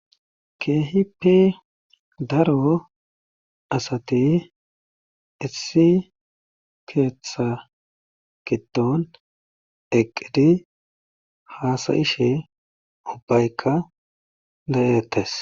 Keehippe daro asati issi keeththaa giddon eqqidi haasa7ishe ubbaykka de7eettes.